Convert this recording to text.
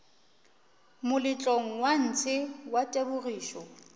moletlong wa ntshe wa tebogišo